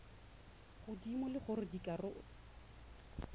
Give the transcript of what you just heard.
godimo le gore dikarabo tsa